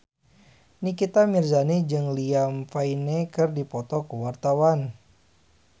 Nikita Mirzani jeung Liam Payne keur dipoto ku wartawan